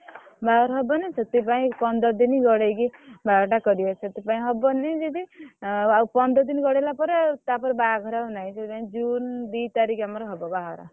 ବାହାଘର ହବନି ସେଥୀ ପାଇଁ ପନ୍ଦର୍ ଦିନ ଗଡେଇକି ବାହାଘରଟା କରିଆ ସେଥୀପାଇଁ ହବନି ଯଦି ଆଉ ପନ୍ଦର୍ ଦିନ ଗଡେଇଲା ପରେ ଆଉ ବାହାଘର ଆଉ ନାହିଁ ସେଥି ପାଇଁ June ଦି ତାରିଖ ଆମର ହବ ବାହାଘର।